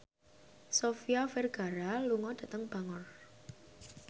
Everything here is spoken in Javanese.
Sofia Vergara lunga dhateng Bangor